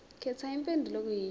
khetha impendulo okuyiyona